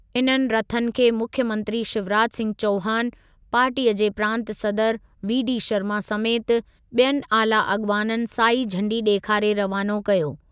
इन्हनि रथनि खे मुख्यमंत्री शिवराज सिंह चौहान, पार्टीअ जे प्रांत सदर वी डी शर्मा समेति ॿियनि आला अॻवाननि साई झंडी ॾेखारे रवानो कयो।